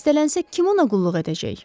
Xəstələnsə kim ona qulluq edəcək?